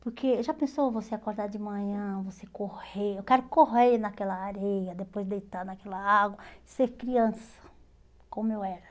Porque já pensou você acordar de manhã, você correr, eu quero correr naquela areia, depois deitar naquela água, ser criança como eu era.